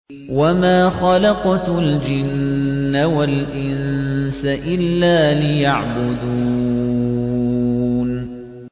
وَمَا خَلَقْتُ الْجِنَّ وَالْإِنسَ إِلَّا لِيَعْبُدُونِ